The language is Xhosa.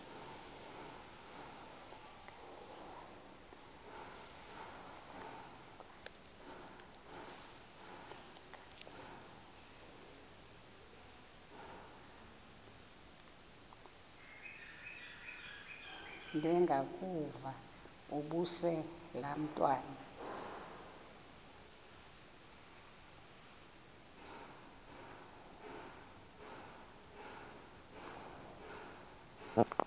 ndengakuvaubuse laa ntwana